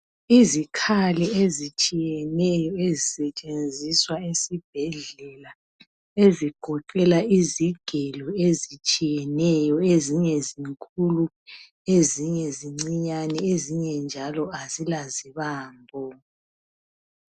Izikhali ezitshiyeneyo ezisetshenziswa esibhedlela ezigoqela izigelo ezinye zinkulu, ezinye zincinyane ezinye njalo azila zibambo.